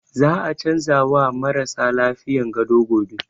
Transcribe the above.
Za a canza wa marasa lafiyan gado gobe